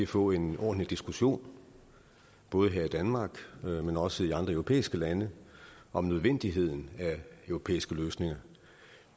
få en ordentlig diskussion både her i danmark men også i andre europæiske lande om nødvendigheden af europæiske løsninger